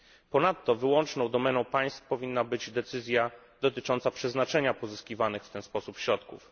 Ponadto wyłączną domeną państw powinna być decyzja dotycząca przeznaczenia pozyskiwanych w ten sposób środków.